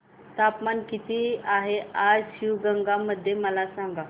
तापमान किती आहे आज शिवगंगा मध्ये मला सांगा